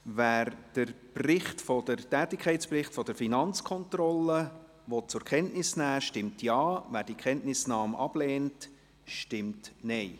Wer den Tätigkeitsbericht der Finanzkontrolle zur Kenntnis nehmen will, stimmt Ja, wer die Kenntnisnahme ablehnt, stimmt Nein.